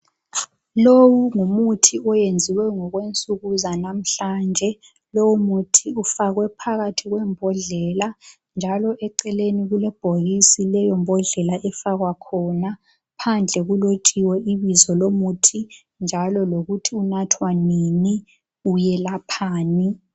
Lowu ngumuthi oyenziwe ngokwe nsuku zanamhlanje lowu muthi ufakwe phakathi kwembodlela njalo eceleni kulebhokisi leyo mbodlela efakwa khona phandle kulotshiwe ibizo lomuthi njalo lokuthi unathwa nini uyelaphani.